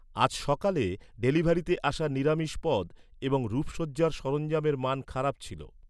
আজ সকালে, ডেলিভারিতে আসা নিরামিষ পদ এবং রূপসজ্জার সরঞ্জামের মান খারাপ ছিল।